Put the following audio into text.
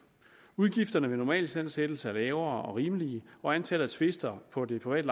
udgifterne ved normalistandsættelse er lavere og rimelige og antallet af tvister på det private